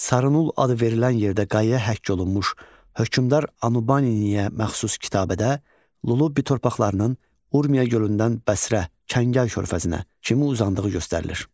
Sarınul adı verilən yerdə qaya həkk olunmuş hökmdar Anubaniniyə məxsus kitabədə Lullubi torpaqlarının Urmiya gölündən Bəsrə, Kəngər körfəzinə kimi uzandığı göstərilir.